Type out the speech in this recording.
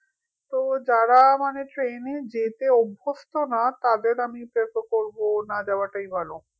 তো যারা মানে train এ যেতে অভ্যস্ত না তাদের আমি prefer করবো না যাওয়াটাই ভালো